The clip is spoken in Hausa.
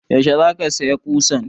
Yaushe za ka saya ƙusan?